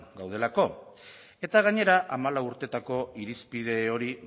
gaudelako eta gainera hamalau urteetako irizpide hori